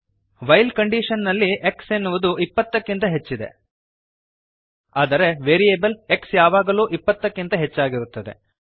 while condition ನಲ್ಲಿ x ಎನ್ನುವುದು 20 ಕ್ಕಿಂತ ಹೆಚ್ಚಿದೆ ಆದರೆ ವೇರಿಯಬಲ್ x ಯಾವಾಗಲೂ 20 ಕ್ಕಿಂತ ಹೆಚ್ಚಾಗಿರುತ್ತದೆ